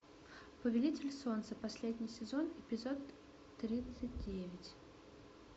повелитель солнца последний сезон эпизод тридцать девять